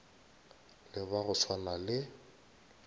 le ba go swana le